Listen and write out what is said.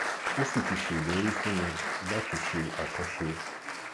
ó sì ti ṣèlérí fún mi láti ṣe àtúnṣe